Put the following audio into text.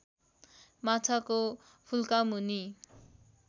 माछाको फुल्का मुनि